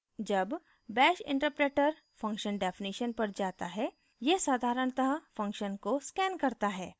जब bash interpreter function definition पर जाता है यह साधारणतः function को scans करता है